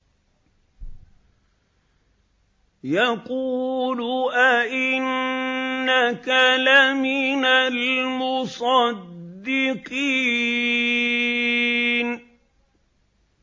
يَقُولُ أَإِنَّكَ لَمِنَ الْمُصَدِّقِينَ